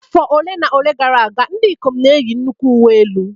Afọ ole na ole gara aga, ndị ikom n'eyi nnukwu uwe elu